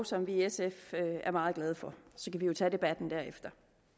som vi i sf er meget glade for så kan vi jo tage debatten derefter